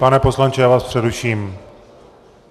Pane poslanče, já vás přeruším.